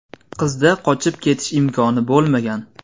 Qizda qochib ketish imkoni bo‘lmagan.